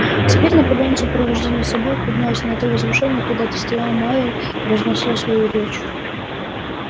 теперь наполеон в сопровождении собак поднялся на то возвышение когда-то стоял майер произнося свою речь